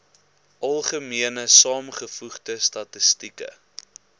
algemene saamgevoegde statistieke